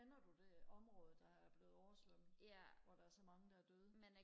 kender du det område der er blevet oversvømmet hvor der er så mange der er døde